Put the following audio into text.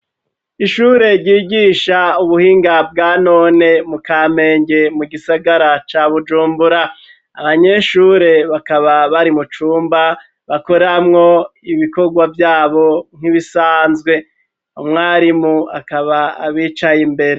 Ishure ryigisha ubuhinga bwa none mu kamenge mu gisagara ca Bujumbura, abanyeshure bakaba bari mu cumba bakoramwo ibikorwa vyabo nk'ibisanzwe, umwarimu akaba abicaye imbere.